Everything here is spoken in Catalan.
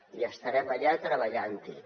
i estarem allà treballant hi